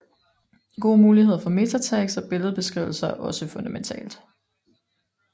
Gode muligheder for MetaTags og billedbeskrivelser er også fundamentalt